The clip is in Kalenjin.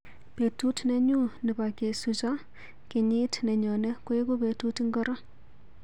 Betut nenyu nebo kesucho kenyit nenyone koeku betut ingoro?